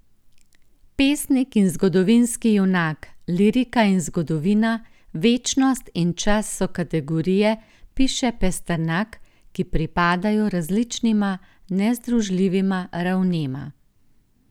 Pesnik in zgodovinski junak, lirika in zgodovina, večnost in čas so kategorije, piše Pasternak, ki pripadajo različnima, nezdružljivima ravnema.